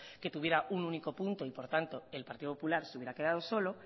que tuviera un único punto y por tanto el partido popular se hubiera quedado solo